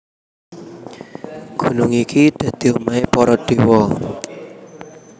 Gunung iki dadi omahé para déwa